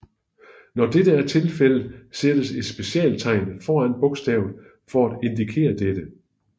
Når dette er tilfældet sættes et specialtegn foran bogstavet for at indikere dette